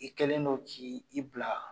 I kɛlen don k' i bila